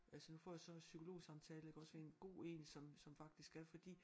Altså nu får jeg så også psykologsamtale iggås ved en god én som som faktisk er fordi